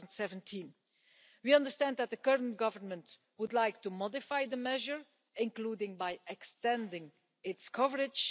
2017. We understand that the current government would like to modify the measure, including by extending its coverage.